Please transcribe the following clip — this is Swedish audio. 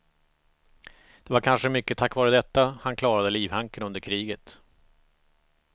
Det var kanske mycket tack vare detta han klarade livhanken under kriget.